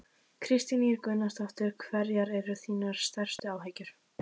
Kristín Ýr Gunnarsdóttir: Hverjar eru þínar stærstu áhyggjur?